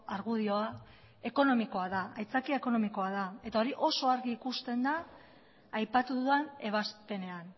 argudioa ekonomikoa da aitzakia ekonomikoa eta hori oso argi ikusten da aipatu dudan ebazpenean